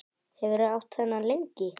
Hefurðu átt þennan lengi?